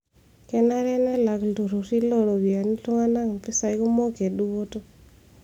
Kenare nelak iltururi loo ropiyiana iltung'ana mpisai kumok e dupoto.